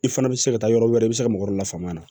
I fana bɛ se ka taa yɔrɔ wɛrɛ i bɛ se ka mɔgɔ dɔ lafaamuya